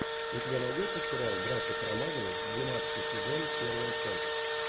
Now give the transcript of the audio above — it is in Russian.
у тебя найдется сериал братья карамазовы двенадцатый сезон первая часть